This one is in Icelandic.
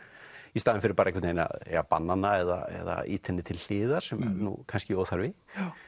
í staðinn fyrir einhvern veginn að banna hana eða ýta henni til hliðar sem er nú kannski óþarfi